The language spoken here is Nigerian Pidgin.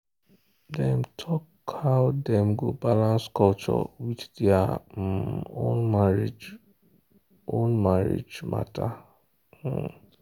dem talk how dem go balance culture with their um own marriage own marriage matter. um